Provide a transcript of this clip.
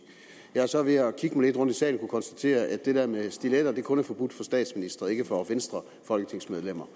jeg har så ved at kigge lidt rundt i salen kunnet konstatere at det med stiletter kun er forbudt for statsministre og ikke for folketingsmedlemmer